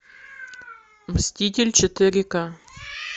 мститель четыре ка